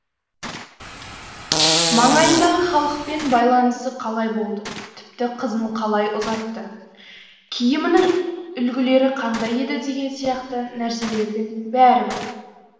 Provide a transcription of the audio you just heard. маңайындағы халықпен байланысы қалай болды тіпті қызын қалай ұзатты киімінің үлгілері қандай еді деген сияқты нәрселердің бәрі бар